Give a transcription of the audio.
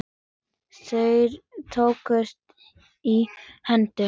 Þeir tókust í hendur.